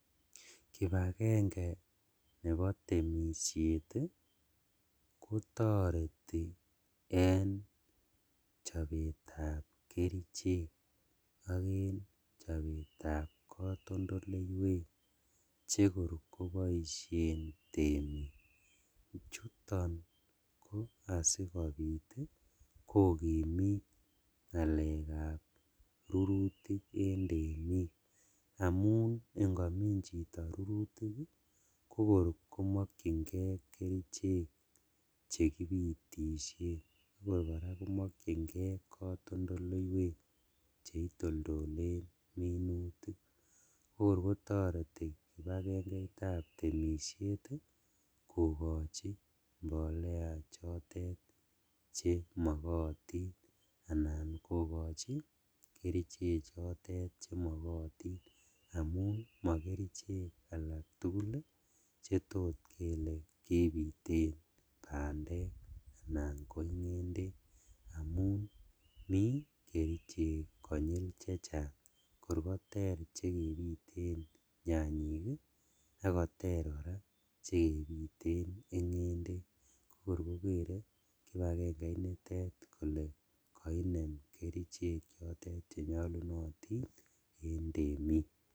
Kipagenge nebo tenushet ii kotoreti en chobetsb kerichek ok en chobetab kotondoleiwek chekor koboishen temik, chuton ko asikobit kokimit ngalekab rurutik en temik, amun ingimin chito rurutik kokor komokjingee kerichek chekipitishen akor koraa komokjingee kotondoleiwek cheitoldolen minutik, kokor kotoreti Kipagengeitab temishet ii kokochi mbolea chotet chemokotin anan kokochi kerichechotet chemokotin amun mokerichek alaktugul chetot kele kebiten bandek anan ko ingendek, amun mi kerichek konyil chechang kor koter chekebiten nyanyik ii sk koter koraa chekebiten ingendek kokor kokere Kipagenge initet kole koinem kerichek chotet chenyolunotin en temik.